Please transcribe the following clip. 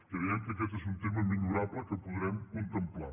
creiem que aquest és un tema millorable que podrem contemplar